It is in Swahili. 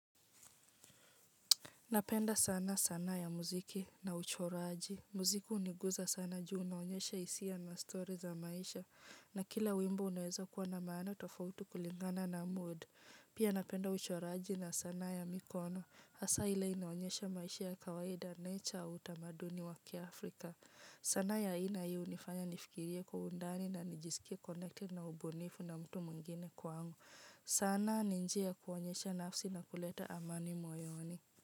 Napenda sana ya muziki na uchoraji muziki huniguza sama juu unaonyesha hisia na stori za maisha. Na kila wimbo unaweza kuwa na maana tofautu kulingana na mood. Pia napenda uchoraji na sanaa ya mikono. Hasa ile inaonyesha maisha ya kawaida nature au utamaduni wa kiAfrika. Sanaa ya ina hi unifanya nifikirie kwa undani na nijisikia connecting na ubunifu na mtu mwingine kwangu. Sana ni njia ya kuonyesha nafsi na kuleta amani moyoni.